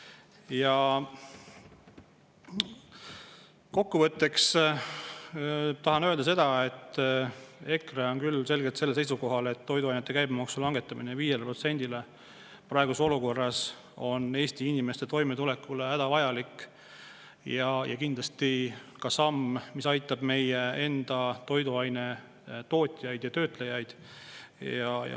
Ja kokkuvõtteks tahan öelda seda, et EKRE on küll selgelt sellel seisukohal, et toiduainete käibemaksu langetamine 5%-le praeguses olukorras on Eesti inimeste toimetulekuks hädavajalik ja kindlasti ka samm, mis aitab meie enda toiduainetootjaid ja -töötlejaid.